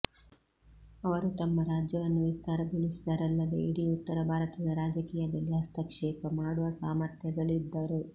ಅವರು ತಮ್ಮ ರಾಜ್ಯವನ್ನು ವಿಸ್ತಾರಗೊಳಿಸಿದರಲ್ಲದೆ ಇಡೀ ಉತ್ತರ ಭಾರತದ ರಾಜಕೀಯದಲ್ಲಿ ಹಸ್ತಕ್ಷೇಪ ಮಾಡುವ ಸಾಮಥ್ರ್ಯಗಳಿಸಿದ್ದರು